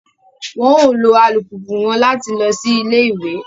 Wọn o lo alupupu wọn làti lọ sí ilé-ìwé